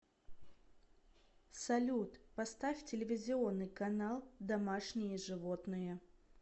салют поставь телевизионный канал домашние животные